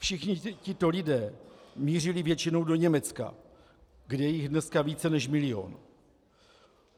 Všichni tito lidé mířili většinou do Německa, kde je jich dneska více než milion.